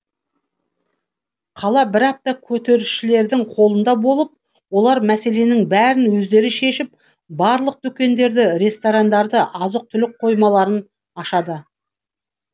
қала бір апта көтерілісшілердің қолында болып олар мәселенің бәрін өздері шешіп барлық дүкендерді ресторандарды азық түлік қоймаларын ашады